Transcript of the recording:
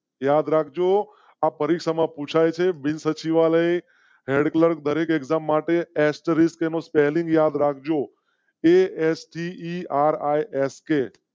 યાદ રાખ જો આ પરીક્ષા માં પૂછાય છે. બિનસચિવાલય ક્લર્ક દરેક એકમ માટે એસ્ટ રિસ્ક એનું spelling યાદ રાખજો